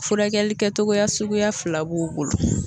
Furakɛli kɛtogoya suguya fila b'u bolo.